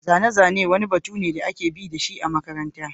Zane-zane wani batu ne da ake bi da shi a makaranta.